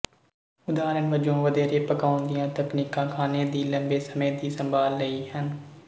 ਉਦਾਹਰਣ ਵਜੋਂ ਵਧੇਰੇ ਪਕਾਉਣ ਦੀਆਂ ਤਕਨੀਕਾਂ ਖਾਣੇ ਦੀ ਲੰਬੇ ਸਮੇਂ ਦੀ ਸੰਭਾਲ ਲਈ ਹਨ